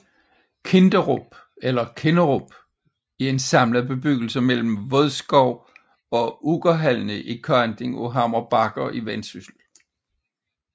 Kinderup eller Kinnerup er en samlet bebyggelse mellem Vodskov og Uggerhalne i kanten af Hammer Bakker i Vendsyssel